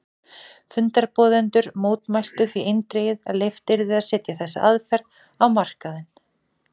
Fundarboðendur mótmæltu því eindregið að leyft yrði að setja þessa aðferð á markaðinn.